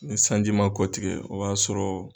Ni sanji ma kɔ tigɛ o b'a sɔrɔ.